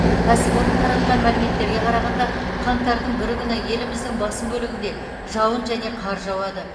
кәсіпорын таратқан мәліметтерге қарағанда қаңтардың бірі күні еліміздің басым бөлігінде жауын және қар жауады